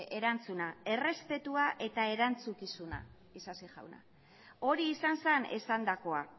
erantzuna errespetua eta erantzukizuna isasi jauna hori izan zen esandakoa